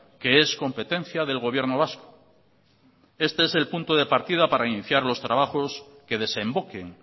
que es competencia del gobierno vasco este es el punto de partida para iniciar los trabajos que desemboquen